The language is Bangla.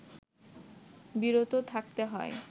বিরত থাকতে হয়